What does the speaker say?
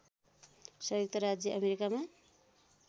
संयुक्त राज्य अमेरिकामा